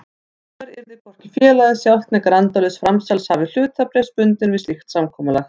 Hinsvegar yrði hvorki félagið sjálft né grandlaus framsalshafi hlutabréfs bundinn við slíkt samkomulag.